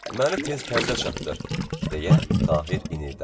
Məni tez kəndə çatdır, deyə Tahir inildədi.